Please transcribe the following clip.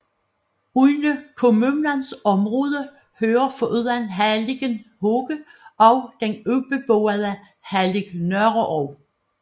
Under kommunens område hører foruden halligen Hoge også den ubeboede hallig Nørreog